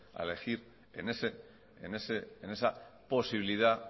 a elegir en esa posibilidad